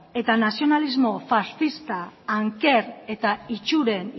eta nazionalismo faxista anker eta itsuren